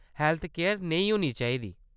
Healthcare नेही होनी चाहिदी।